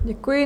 Děkuji.